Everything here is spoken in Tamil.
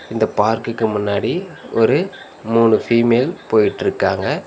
இந்த பார்க்குக்கு முன்னாடி ஒரு மூணு ஃபீமேல் போயிட்ருக்காங்க.